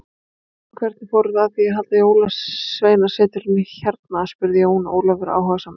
En hvernig fóruð þið að því halda Jólasveinasetrinu hérna spurði Jón Ólafur áhugasamur.